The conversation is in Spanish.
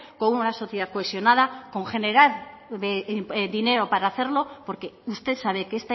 con una sociedad cohesionada con generar dinero para hacerlo porque usted sabe que